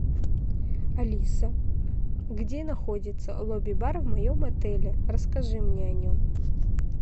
алиса где находится лобби бар в моем отеле расскажи мне о нем